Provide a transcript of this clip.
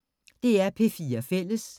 DR P4 Fælles